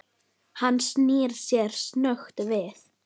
Hann snýr sér snöggt við.